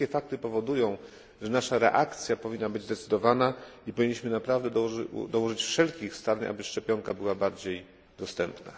Te wszystkie fakty powodują, że nasza reakcja powinna być zdecydowana, i powinniśmy naprawdę dołożyć wszelkich starań, aby szczepionka była bardziej dostępna.